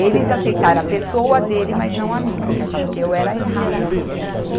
Eles aceitaram a pessoa dele, mas não a mim, porque achavam que eu era errada.